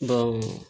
Bawo